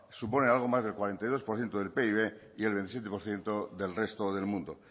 suponen algo más del cuarenta y dos por ciento del pib y el veintisiete por ciento del resto del mundo